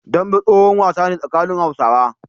Dambe tsohon wasa ne tsakanin Hausawa.